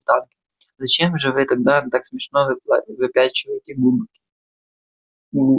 зачем же вы тогда так смешно выпячиваете губки